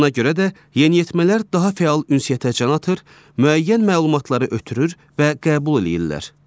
Buna görə də yeniyetmələr daha fəal ünsiyyətə can atır, müəyyən məlumatları ötürür və qəbul eləyirlər.